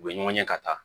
U bɛ ɲɔgɔn ye ka taa